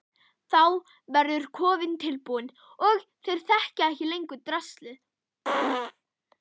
Þá verður kofinn tilbúinn og þeir þekkja ekki lengur draslið.